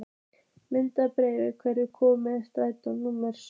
Mildinberg, hvenær kemur strætó númer sjö?